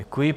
Děkuji.